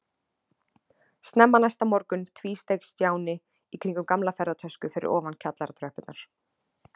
Snemma næsta morgun tvísteig Stjáni í kringum gamla ferðatösku fyrir ofan kjallaratröppurnar.